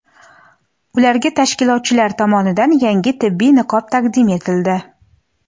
ularga tashkilotchilar tomonidan yangi tibbiy niqob taqdim etildi.